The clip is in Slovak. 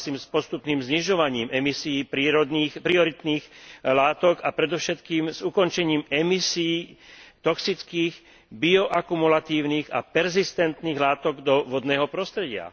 Súhlasím s postupným znižovaním emisií prioritných látok a predovšetkým s ukončením emisií toxických bioakumulatívnych a perzistentných látok do vodného prostredia.